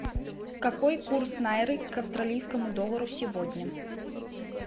какой курс найры к австралийскому доллару сегодня